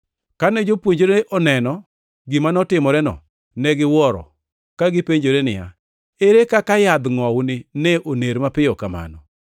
Kane jopuonjre oneno gima notimoreno, ne giwuoro, ka gipenjore niya, “Ere kaka yadh ngʼowuni ne oner mapiyo kamano?”